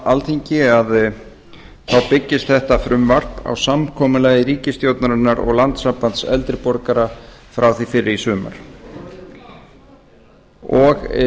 alþingi byggist þetta frumvarp á samkomulagi ríkisstjórnarinnar og landssambands eldri borgara frá því fyrr í sumar og